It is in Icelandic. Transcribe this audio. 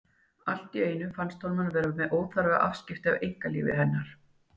Allt í einu finnst honum hann vera með óþarfa afskiptasemi af einkalífi hennar.